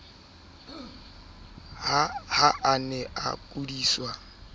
ha a ne a kudiswa